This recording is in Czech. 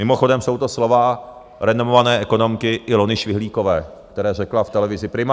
Mimochodem jsou to slova renomované ekonomky Ilony Švihlíkové, která řekla v televizi Prima.